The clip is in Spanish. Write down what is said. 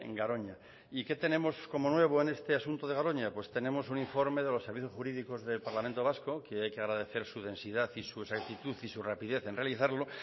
garoña y qué tenemos como nuevo en este asunto de garoña pues tenemos un informe de los servicios jurídicos del parlamento vasco que hay que agradecer su densidad y su exactitud y su rapidez en realizarlo